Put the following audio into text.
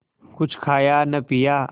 कुछ खाया न पिया